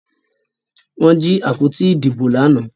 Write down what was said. Wón jí àpótí Ìdìbò lànà.